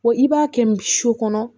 Wa i b'a kɛ su kɔnɔ